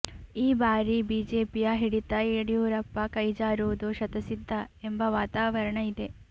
ಈ ಬಾರಿ ಬಿಜೆಪಿಯ ಹಿಡಿತ ಯಡಿಯೂರಪ್ಪ ಕೈಜಾರುವುದು ಶತಸಿದ್ಧ ಎಂಬ ವಾತಾವರಣ ಇದೆ